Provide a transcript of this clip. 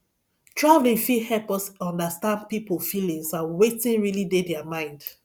traveling fit help us understand pipo feelings and wetin really dey their mind